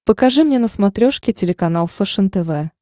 покажи мне на смотрешке телеканал фэшен тв